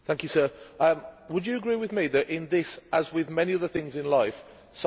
Would you agree with me that in this, as with many other things in life, size matters?